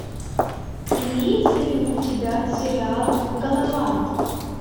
имеется ли у тебя сериал галавант